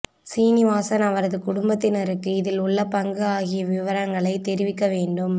சீனிவாசன் அவரது குடும்பத்தினருக்கு இதில் உள்ள பங்கு ஆகிய விவரங்களை தெரிவிக்க வேண்டும்